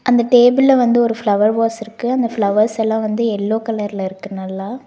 அந்த டேபிள்ல வந்து ஒரு பிளவர் வாஷ் இருக்கு அந்த பிளவர்ஸெல்லா வந்து எல்லோ கலர்ல இருக்கு நல்லா.